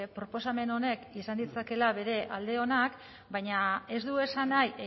proposamen honek izan ditzakeela bere alde onak baina ez du esan nahi